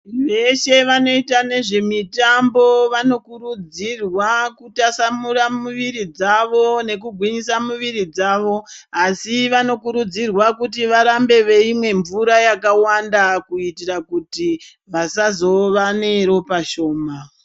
Veshe vanoita nezvemitambo vanokurudzirwa kutasamura muviri dzawo nekugwinyisa muviri dzawo asi vanokurudzirwa kuti varambe veimwa mvura yakawanda kuitira kuti vasazove neropa shoma.